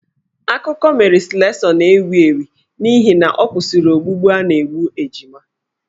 Akụkọ Mary Slessor na-ewi ewi n'ihi na ọ kwụsịrị ogbugbu a na-egbu ejima.